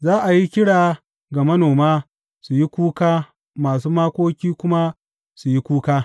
Za a yi kira ga manoma su yi kuka masu makoki kuma su yi kuka.